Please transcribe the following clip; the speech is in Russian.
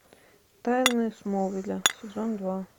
тайны смолвиля сезон два